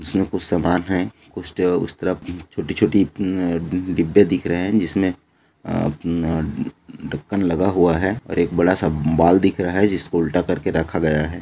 इसमें कुछ सामान है उसके उस तरफ छोटी-छोटी उम उम तीन डिब्बे दिख रहैं हैं जिसमें अ अपना ढक्कन लगा हुआ है और एक बड़ा सा बाल दिख रहा है जिसको उल्टा करके रखा गया है।